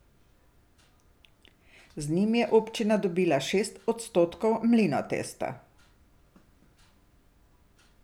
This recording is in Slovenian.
Z njim je občina dobila šest odstotkov Mlinotesta.